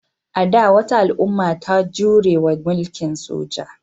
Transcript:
A da, wata al'umma ta jure wa mulkin soja.